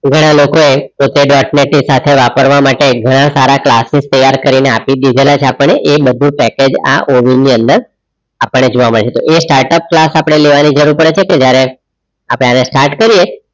ઘણા લોકો એ વાપરવા માટે ઘણા સારા ક્લાસીસ તૈયાર કરી ને આપી દીધા છે આપણે એ બધુ પેકેજ આ ઓવિન ની અંદર આપણે જોવા મડસે એ startup ક્લાસ અપડે લેવાની જરૂર પડે છે તો જ્યરહ અપડે એને Start કર્યે